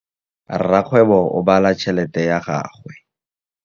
Rakgwêbô o bala tšheletê ya gagwe.